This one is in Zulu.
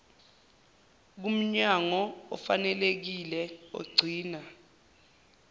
kumnyango ofanelekile ogcina